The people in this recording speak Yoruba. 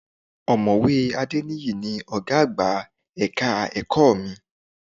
Ọ̀mọ̀wé Adéníyì ni ọ̀gá àgbà ẹ̀ka ẹ̀kọ́ mi